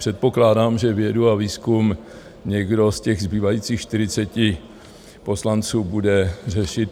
Předpokládám, že vědu a výzkum někdo z těch zbývajících 40 poslanců bude řešit.